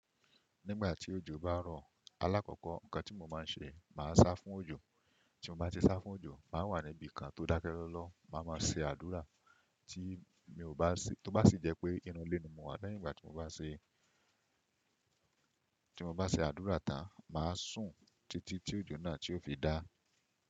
Nígbà tí òjò bá rọ̀, alákọ̀ọ́kọ́ nǹkan tí mo máa ń ṣe, màá sá fún òjò. Tí mo bá ṣe sá fún òjò, màá wà níbi kan tó dákẹ́ lọ́lọ́, màá máa ṣe àdúrà tí mi ò bá sì-- tó bá sì jẹ́ pé inú lé mi mo wá ní igbà tí mo bá ṣe, tí mo bá ṣe àdúrà tán, màá sùn títí tí òjò náà tí ó fi dá.